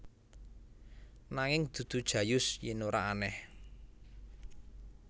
Nanging dudu Jayus yen ora aneh